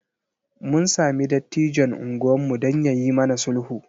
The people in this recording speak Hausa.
Mun sami dattijon unguwarmu don ya yi mana sulhu.